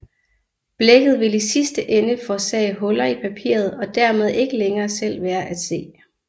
Blækket vil i sidste ende forårsage huller i papiret og dermed ikke længere selv være at se